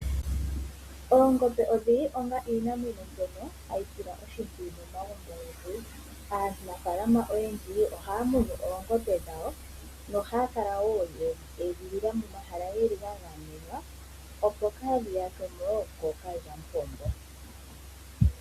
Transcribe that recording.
Oongombe odhili onga iinamwenyo mbyono hayi silwa oshimpwiyu momagumbo ogendji. Aanafaalama oyendji ohaya munu oongombe dhawo nohaya kala wo yedhi edhilila momahala geli ga gamenwa opo kaadhiyakwe mo wo kookalyamupombo.